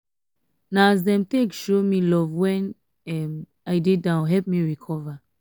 na as dem take show um me love wen um i um dey down help me recover.